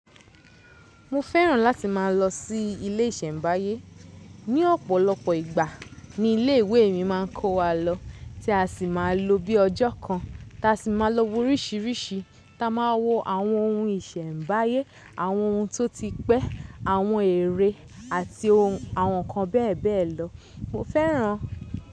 Mo fẹ́ràn láti má a lọ sí ilé ìsẹ̀mbáyé. Ní ọ̀pọ̀lọpọ̀ ìgbà ni ilé ìwé mi má a ń kó wa lọ tí a si má a lò bí ọjọ́ kan ta si má a lọ wo orísìírísìí ta má a wo àwọn ohun ìsẹ̀mbáyé, àwọn ohun tó ti pẹ́, àwọn ère àti àwọn ǹkan bẹ́ẹ̀ bẹ́ẹ̀ lọ. Mo fẹ́ràn.